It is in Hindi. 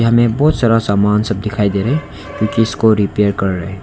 यहां में बहुत सारा सामान सब दिखाई दे रहे है जो कि इसको रिपेयर कर रहा है।